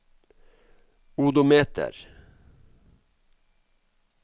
odometer